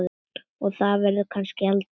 Og það verður kannski aldrei.